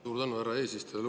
Suur tänu, härra eesistuja!